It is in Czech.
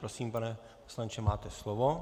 Prosím, pane poslanče, máte slovo.